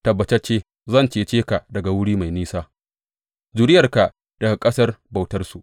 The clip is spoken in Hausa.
Tabbatacce zan cece ka daga wuri mai nisa, zuriyarka daga ƙasar bautarsu.